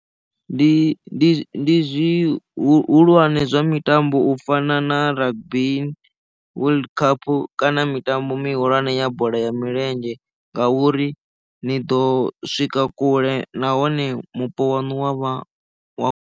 Ndi zwihulwane zwa mitambo u fana na rugby world cup kana mitambo mihulwane ya bola ya milenzhe ngauri ni ḓo swika kule nahone mupo wanu wavha wa.